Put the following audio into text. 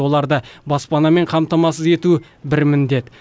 оларды баспанамен қамтамасыз ету бір міндет